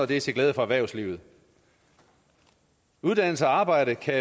det er til glæde for erhvervslivet uddannelse og arbejde kan